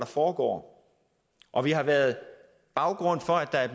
foregår og det har været baggrunden for at